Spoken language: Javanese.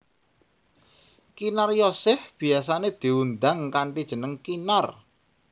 Kinaryosih biyasané diundang kanthi jeneng Kinar